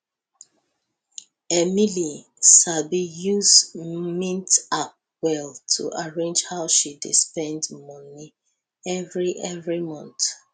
emily sabi use mint app well to arrange how she dey spend moni every every month